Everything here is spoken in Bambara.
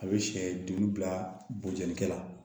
A bɛ sɛ duuru bila bojikɛ la